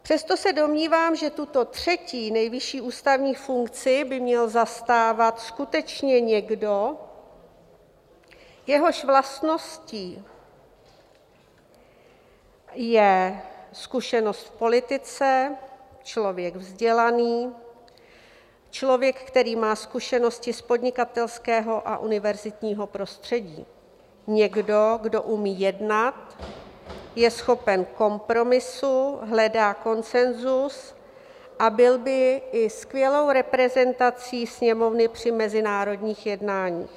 Přesto se domnívám, že tuto třetí nejvyšší ústavní funkci by měl zastávat skutečně někdo, jehož vlastností je zkušenost v politice, člověk vzdělaný, člověk, který má zkušenosti z podnikatelského a univerzitního prostředí, někdo, kdo umí jednat, je schopen kompromisu, hledá konsenzus a byl by i skvělou reprezentací Sněmovny při mezinárodních jednáních.